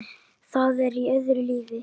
Það er í öðru lífi.